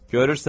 Görürsən?